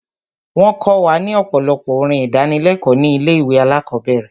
Wọ́n kọ wa ní ọ̀pọ̀lọpọ̀ orin ìdánilékòó ní ilé ìwé alákọ̀berẹ̀.